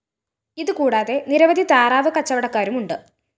ഇതുകൂടാതെ നിരവധി താറാവ് കച്ചവടക്കാരുമുണ്ട്